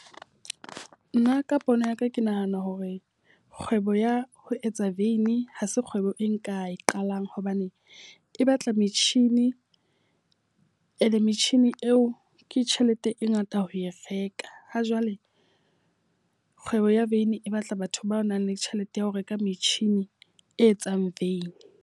Nna ka pono ya ka ke nahana hore kgwebo ya ho etsa veini ha se kgwebo e nka e qalang. Hobane e batla metjhini e ele metjhini eo ke tjhelete e ngata ho e reka. Ha jwale kgwebo ya vein e batla batho ba nang le tjhelete ya ho reka metjhini e etsang vein.